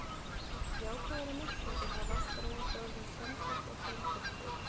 Jákvæðari merkingu hafa aftur á móti orðin sendill og sendisveinn.